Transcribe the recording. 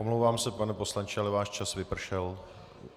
Omlouvám se, pane poslanče, ale váš čas vypršel.